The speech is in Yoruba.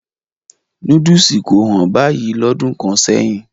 Núdùsù kò hán báyìí lọ́dún kan sẹ́yìn.